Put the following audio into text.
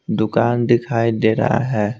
दुकान दिखाई दे रहा है।